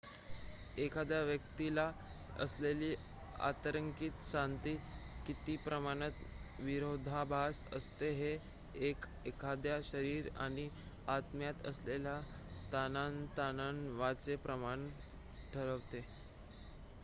एखाद्या व्यक्तीला असलेली आंतरिक शांती किती प्रमाणात विरोधाभास असते हे 1 एखाद्याच्या शरीर आणि आत्म्यात असलेल्या ताणतणावाचे प्रमाण ठरवते